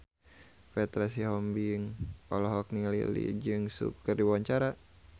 Petra Sihombing olohok ningali Lee Jeong Suk keur diwawancara